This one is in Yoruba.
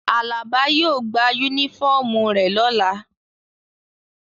Alaba yio gba unifọmú re lola.